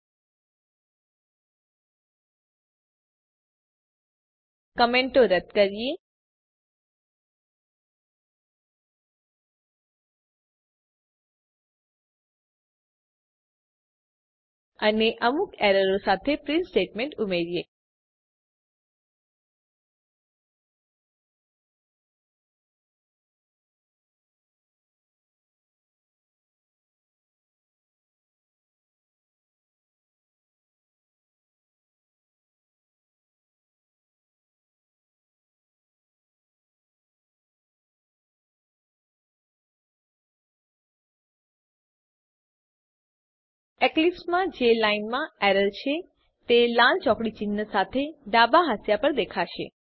કમેન્ટો રદ્દ કરીએ અને અમુક એરરો સાથે પ્રીંટ સ્ટેટમેંટ ઉમેરીએ એક્લીપ્સ માં જે લાઈનમાં એરર છે તે લાલ ચોકડી ચિન્હ સાથે ડાબા હાંસિયા પર દેખાશે